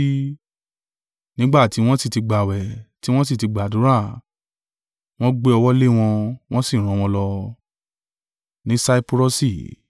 Nígbà tí wọ́n sì ti gbààwẹ̀, tí wọn sì ti gbàdúrà, wọ́n gbé ọwọ́ lé wọn, wọ́n sì rán wọn lọ.